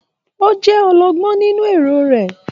O jẹ ọlọgbọn nínú èrò rẹ.